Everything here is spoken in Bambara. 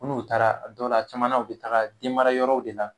N'u taara dɔw la a caman na u bɛ taa denmarayɔrɔw de la